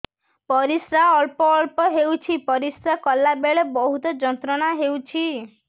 ପରିଶ୍ରା ଅଳ୍ପ ଅଳ୍ପ ହେଉଛି ପରିଶ୍ରା କଲା ବେଳେ ବହୁତ ଯନ୍ତ୍ରଣା ହେଉଛି